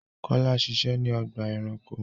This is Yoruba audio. Kọlà ń ṣiṣẹ̀ ni ọgba ẹ̀ránkò